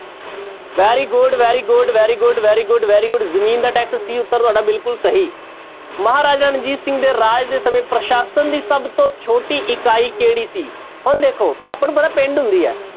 Very good, very good, very good, very good, very good ਜ਼ਮੀਨ ਦਾ tax c ਉੱਤਰ ਤੁਹਾਡਾ ਬਿਲਕੁਲ ਸਹੀ, ਮਹਾਰਾਜਾ ਰਣਜੀਤ ਸਿੰਘ ਦੇ ਰਾਜ ਦੇ ਸਮੇਂ ਪ੍ਰਸ਼ਾਸ਼ਨ ਦੀ ਸਭ ਤੋਂ ਛੋਟੀ ਇਕਾਈ ਕਿਹੜੀ ਸੀ, ਹੁਣ ਦੇਖੋ ਆਪਾਂ ਨੂੰ ਪਤਾ ਪਿੰਡ ਹੁੰਦੀ ਹੈ,